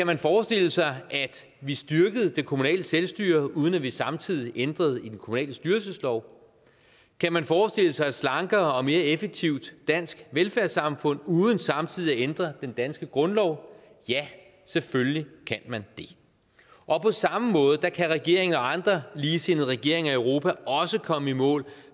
man forestille sig at vi styrkede det kommunale selvstyre uden at vi samtidig ændrede i den kommunale styrelseslov kan man forestille sig et slankere og mere effektivt dansk velfærdssamfund uden samtidig at ændre den danske grundlov ja selvfølgelig kan man det og på samme måde kan regeringen og andre ligesindede regeringer i europa også komme i mål